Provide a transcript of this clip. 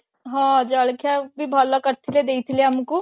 ହଁ ଜଳଖିଆ ବି ଭଲ କରିଥିଲେ ଦେଇଥିଲେ ଆମକୁ